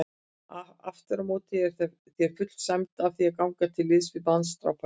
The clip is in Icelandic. Afturámóti er þér full sæmd að því að ganga til liðs við manndrápara.